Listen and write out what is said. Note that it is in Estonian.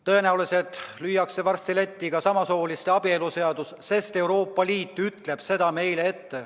Tõenäoliselt lüüakse varsti letti ka samasooliste abielu seadus, sest Euroopa Liit ütleb seda meile ette.